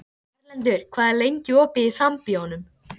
Erlendur, hvað er lengi opið í Sambíóunum?